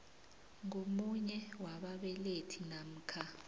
ngomunye wababelethi namkha